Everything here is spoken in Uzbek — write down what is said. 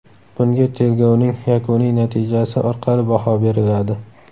Bunga tergovning yakuniy natijasi orqali baho beriladi.